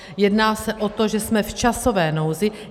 Jedná se o to, že jsme v časové nouzi.